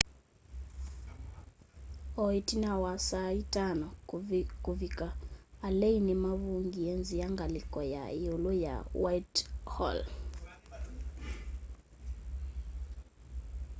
o ĩtina wa saa 11.00 kũvĩka alei nĩmavingie nzĩa ngalĩko ya yĩũlũ ya whitehall